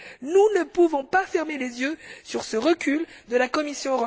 Nous ne pouvons pas fermer les yeux sur ce recul de la Commission.